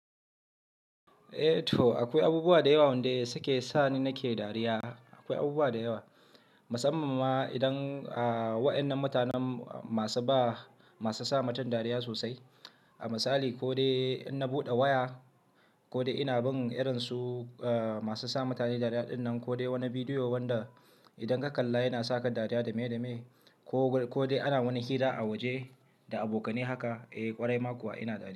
Eh to akoi abubuwa da yewa wanda suke sani nake dariya. Akoi abubuwa da yewa, musam-man ma idan a wa'yan nan mutanen masu ba, masu sa mutum dariya sosai. A misali, ko dai in na buɗe waya ko dai ina bin irin su masu sa mutane dariya din nan, ko dai woni bidiyo wanda idan ka kalla yana saka dariya da me da me, ko dai ana woni hira a woje da abokane haka, eh ƙwarai makuwa ina dariya.